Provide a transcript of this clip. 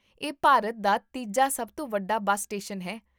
ਇਹ ਭਾਰਤ ਦਾ ਤੀਜਾ ਸਭ ਤੋਂ ਵੱਡਾ ਬੱਸ ਸਟੇਸ਼ਨ ਹੈ